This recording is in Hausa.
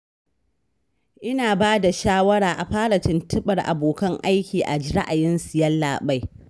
Ina ba da shawara a fara tuntuɓar abokan aiki a ji ra'ayinsu, Yallaɓai